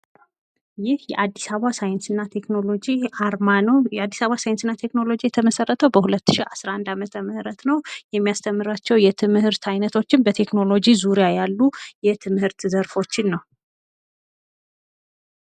ይህ የአዲስ አበባ ሳይንስና ቴክኖሎጂ የዓርማ ነው። የአዲስ አበባ ሳይንትና ቴክኖሎጂ የተመሰረተው በ 2011 ዓ.ም ነው። የሚያስተምራቸው የትምህርት ዓይነቶችን በቴክኖሎጂ ዙሪያ ያሉ የትምህርት ዘርፎችን ነው።